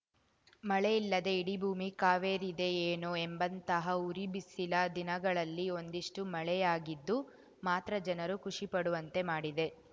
ಮಳೆ ಇಲ್ಲದೇ ಇಡೀ ಭೂಮಿ ಕಾವೇರಿದೆಯೇನೋ ಎಂಬಂತಹ ಉರಿ ಬಿಸಿಲ ದಿನಗಳಲ್ಲಿ ಒಂದಿಷ್ಟುಮಳೆಯಾಗಿದ್ದು ಮಾತ್ರ ಜನರು ಖುಷಿಪಡುವಂತೆ ಮಾಡಿದೆ